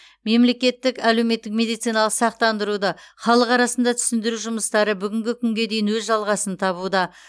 мемлекеттік әлеуметтік медициналық сақтандыруды халық арасында түсіндіру жұмыстары бүгінгі күнге дейін өз жалғасын табуда